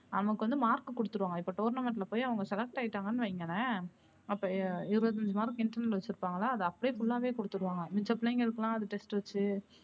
நமக்கு வந்து mark கு குடுத்துருவாங்க இப்ப tournament லா போய் அவுங்க select ஆய்டாங்கன்னு வைங்களேன் அப்ப இருபத்தி ஐந்து mark internal வச்சிருப்பாங்க அத அப்படியே full லா வே குடுத்திருவாங்க மிச்ச பிள்ளைங்களுக்கெல்லாம் அது test டு வச்சு